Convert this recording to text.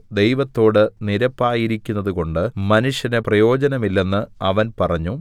ദൈവത്തോട് നിരപ്പായിരിക്കുന്നതുകൊണ്ട് മനുഷ്യന് പ്രയോജനമില്ലെന്ന് അവൻ പറഞ്ഞു